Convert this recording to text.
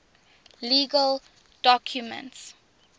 legal documents